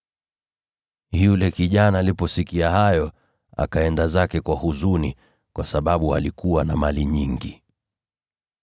Yule kijana aliposikia hayo, akaenda zake kwa huzuni, kwa sababu alikuwa na mali nyingi.